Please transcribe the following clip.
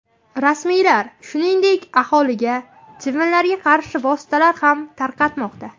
Rasmiylar, shuningdek, aholiga chivinlarga qarshi vositalar ham tarqatmoqda.